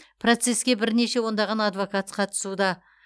процеске бірнеше ондаған адвокат қатысуда